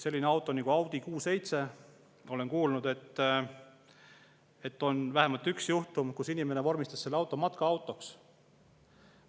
Sellise auto puhul nagu Audi Q7, olen kuulnud, on vähemalt üks juhtum, et inimene vormistas selle auto matkaautoks.